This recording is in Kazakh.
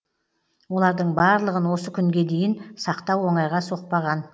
олардың барлығын осы күнге дейін сақтау оңайға соқпаған